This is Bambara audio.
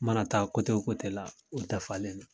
N mana taa kote o kote la o dafalen do